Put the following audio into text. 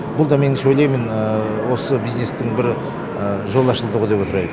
бұл да меніңше ойлаймын осы бизнестің бір жолы ашылды деп отыр